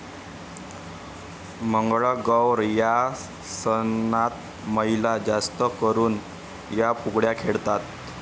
मंगळागौर या सनातमहिला जास्त करून या फुगड्या खेळतात.